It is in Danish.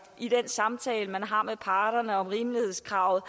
i den samtale man har med parterne om rimelighedskravet